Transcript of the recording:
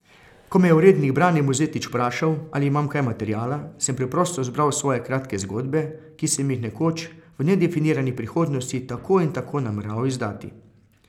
Ko me je urednik Brane Mozetič vprašal, ali imam kaj materiala, sem preprosto zbral svoje kratke zgodbe, ki sem jih nekoč, v nedefinirani prihodnosti tako in tako nameraval izdati.